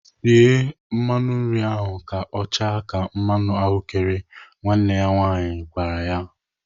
"Sie mmanụ nri ahụ ka ọ chaa ka mmanụ ahụ́kere!" Nwanne ya nwaanyị na-agwa ya.